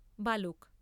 বালক।